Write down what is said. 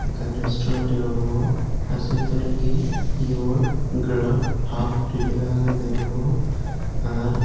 ekkan restaurant deyongor ah se tolendi your grub hub gure lega agey degongor r.